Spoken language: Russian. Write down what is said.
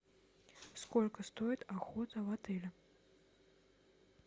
сколько стоит охота в отеле